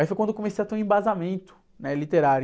Aí foi quando eu comecei a ter um embasamento, né? Literário.